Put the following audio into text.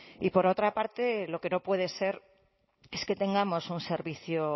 y por otra parte lo que no puede ser es que tengamos un servicio